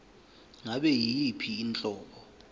ngabe yiyiphi inhlobo